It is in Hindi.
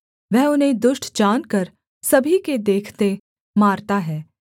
वह उन्हें दुष्ट जानकर सभी के देखते मारता है